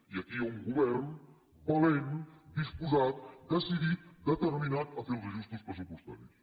i aquí hi ha un govern valent disposat decidit determinat a fer els ajustos pressupostaris